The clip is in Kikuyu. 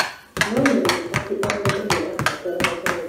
No menya atĩ o mũndũ nĩarabatara Ngai